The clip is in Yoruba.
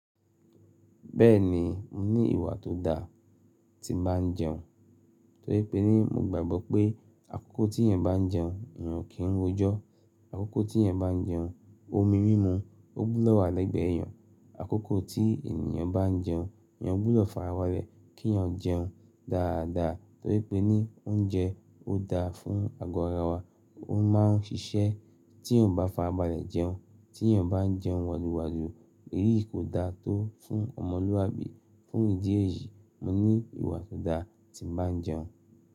Bẹ́ẹ̀ni, mo ní ìwà tó da tí bá ń jẹun, torí pé ní mo gbàgbọ́ pé àkókò tí èèyàn bá ń jẹun, èèyàn kì í rojọ. Àkókò tí èèyàn bá ń jẹun, omi mímu ó búlọ̀wọ́ alẹ́gbẹ́ èèyàn. Àkókò tí èèyàn bá ń jẹun, èèyàn gbúdọ̀ fa ara balẹ̀ kí èèyàn jẹun dáadáa torí pé ní oúnjẹ ó da fún ago ara wa, ó máa ń ṣiṣẹ́ tí èèyàn bá fa abalẹ̀ jẹun. Tí èèyàn bá ń jẹun wọ̀lùwọ̀lù, èyí kò da tó fún ọmọlúwàbí. Fún ìdí èyí, mo ní ìwà tó da tí ń bá ń jẹun.